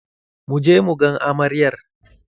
Mu je mu gan amaryar